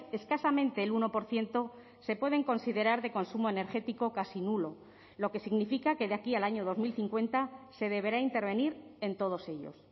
escasamente el uno por ciento se pueden considerar de consumo energético casi nulo lo que significa que de aquí al año dos mil cincuenta se deberá intervenir en todos ellos